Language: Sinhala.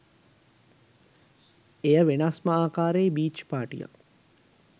එය වෙනස්ම ආකාරයේ බීච් පාටියක්